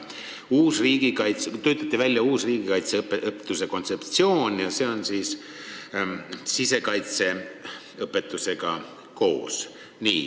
Töötati välja uus riigikaitseõpetuse kontseptsioon ja see hõlmab ka sisekaitseõpetust.